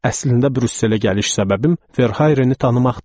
Əslində Brüsselə gəliş səbəbim Verhayreni tanımaqdır.